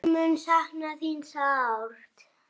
Ég mun sakna þín sárt.